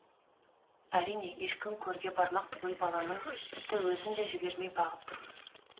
әрине ешкім көрге бармақ түгіл баланың тіпті өзін де жібермей бағып тұрмыз